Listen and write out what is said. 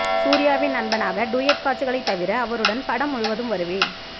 சூர்யாவின் நண்பனாக டூயட் காட்சிகளை தவிர அவருடன் படம் முழுவதும் வருவேன்